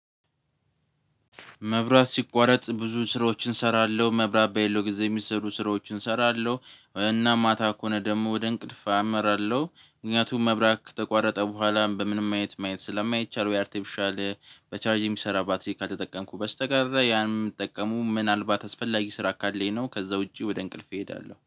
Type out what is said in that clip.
መብራት ሲቋረጥ ብዙ ስራዎችን እሰራለሁ። መብራት በሌለው ጊዜ የሚሰሩ ስራዎችን እሰራለሁ። እና ማታ ከሆነ ደግሞ ወደ እንቅልፍ አመራለሁ። ምክንያቱም መብራት ከተቋረጠ በኋላም በምንም ማየት ማየት ስለማይቻል ወይ አርቴፊሻል በቻርጅ የሚሰራ ባትሪ ካልተጠቀምኩ በስተቀር። ያንን የምጠቀመው ምናልባት አስፈላጊ ስራ ካለኝ ነው። ከዛ ውጪ ወደ እንቅልፍ እሄዳለሁ።